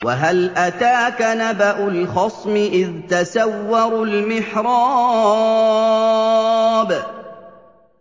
۞ وَهَلْ أَتَاكَ نَبَأُ الْخَصْمِ إِذْ تَسَوَّرُوا الْمِحْرَابَ